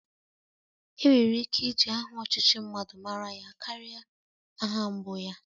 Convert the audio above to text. Enwere ike iji aha ọchịchị mmadụ mara ya karia aha mbụ ya